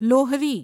Lohri